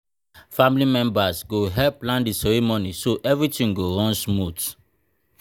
family members go help plan the ceremony so everything go run smooth.